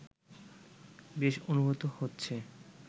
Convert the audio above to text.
বেশ অনুভূত হচ্ছে